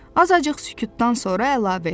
Azacıq sükutdan sonra əlavə etdi.